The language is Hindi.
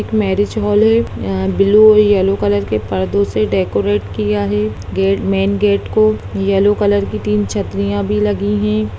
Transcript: एक मैरिज हॉल है यहां ब्लू और येलो कलर के पर्दो से डेकोरेट किया हैगेट मेन गेट को येलो कलर की तीन छत्रियां भी लगी है।